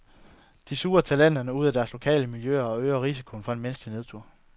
De suger talenterne ud af deres lokale miljøer og øger risikoen for en menneskelig nedtur.